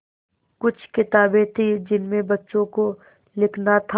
कुछ किताबें थीं जिनमें बच्चों को लिखना था